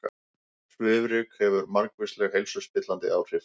Svifryk hefur margvísleg heilsuspillandi áhrif